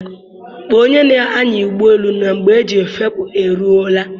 Kpọọ onye na-anya ụgbọelu na mgbe eji efepụ e ruọla.